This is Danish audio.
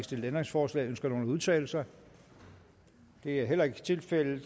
stillet ændringsforslag ønsker nogen at udtale sig det er heller ikke tilfældet